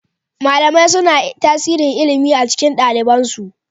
Malamai suna tasirin ilimi a cikin ɗaliban su